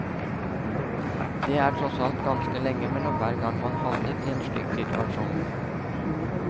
Det er tross alt ganske lenge mellom hver gang man havner i en kritisk situasjon.